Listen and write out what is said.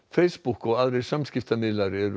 Facebook og aðrir samskiptamiðlar eru